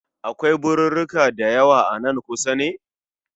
Akwai birirrika dayawa a nan kusa ne?